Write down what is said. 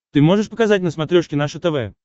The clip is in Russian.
ты можешь показать на смотрешке наше тв